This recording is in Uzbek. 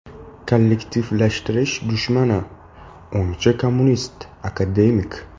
Kollektivlashtirish dushmani, o‘ngchi kommunist, akademik.